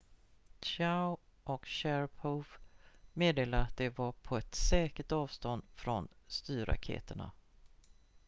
chiao och sharipov meddelade att de var på ett säkert avstånd från styrraketerna